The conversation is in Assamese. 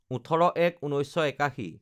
১৮/০১/১৯৮১